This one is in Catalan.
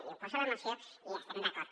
i ho posa a la moció i hi estem d’acord